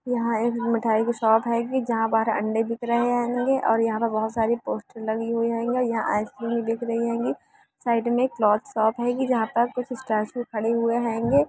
यहाँ एक मिठाई की शॉप है जहा पर अंडे